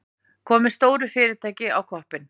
Komið stóru fyrirtæki á koppinn.